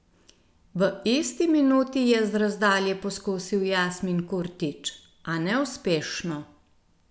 V isti minuti je z razdalje poskusil Jasmin Kurtić, a neuspešno.